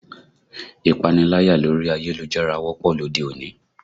Ìpaniláyà lórí ayélujára wọ́pọ̀ lóde òní